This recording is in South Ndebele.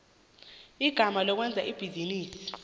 igama lokwenza ibhizinisi